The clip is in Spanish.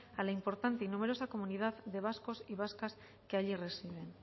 al importante y numerosa comunidad de vascos y vascas que allí residen